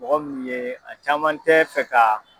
Mɔgɔ minnu ye a caman tɛ fɛ ka.